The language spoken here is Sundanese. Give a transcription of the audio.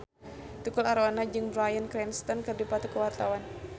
Tukul Arwana jeung Bryan Cranston keur dipoto ku wartawan